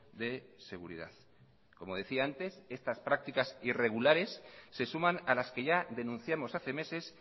de seguridad como decía antes estas prácticas irregulares se suman a las que ya denunciamos hace meses